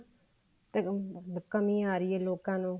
ਕਮੀ ਆ ਰਹੀ ਹੈ ਲੋਕਾਂ ਨੂੰ